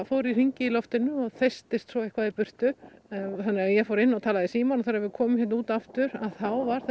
fór í hringi í loftinu og þeystist svo eitthvað í burtu ég fór inn og talaði í símann og þegar við komum út aftur þá var